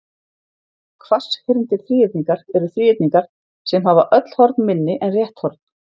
Hvasshyrndir þríhyrningar eru þríhyrningar sem hafa öll horn minni en rétt horn.